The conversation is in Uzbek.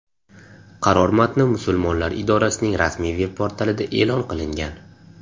Qaror matni musulmonlar idorasining rasmiy veb portalida e’lon qilingan .